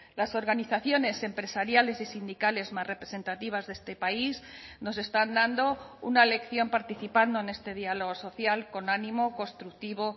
las organizaciones empresariales y sindicales más representativas de este país nos están dando una lección participando en este diálogo social con ánimo constructivo